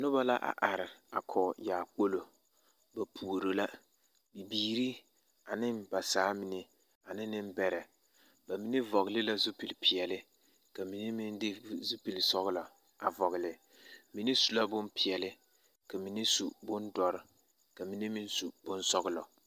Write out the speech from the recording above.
Noba la a are a kɔɡe yaakpolo ba puoro la bibiiri ane ba saamine ane nembɛrɛ ba mine vɔɡele la zupilipeɛle ka mine meŋ de zupilisɔɔlɔ a vɔɡele mine su la bompeɛle ka mine su bondɔre ka mine meŋ su bonsɔɡelɔ.